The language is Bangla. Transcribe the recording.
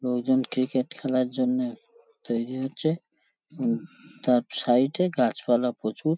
লোকজন ক্রিকেট খেলার জন্যে তৈরী হচ্ছে উম তার সাইড -এ গাছপালা প্রচুর।